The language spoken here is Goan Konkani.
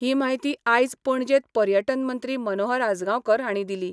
ही म्हायती आयज पणजेंत पर्यटन मंत्री मनोहर आजगांवकार हांणी दिली.